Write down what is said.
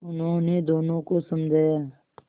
उन्होंने दोनों को समझाया